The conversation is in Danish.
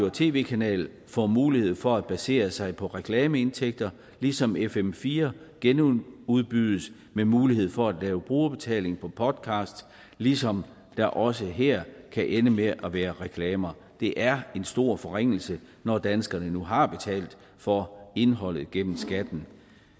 og tv kanal får mulighed for at basere sig på reklameindtægter ligesom fm fire genudbydes med mulighed for at lave brugerbetaling på podcast ligesom der også her kan ende med at være reklamer det er en stor forringelse når danskerne nu har betalt for indholdet gennem skatten